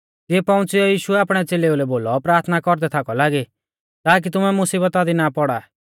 तिऐ पौउंच़िऔ यीशुऐ आपणै च़ेलेऊ लै बोलौ प्राथना कौरदै थाकौ लागी ताकी तुमै मुसीबता दी ना पौड़ा